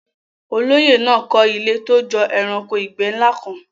Olóyè náà kọ́ ilé tó jọ ẹranko ìgbẹ́ ńlá kan.